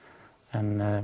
en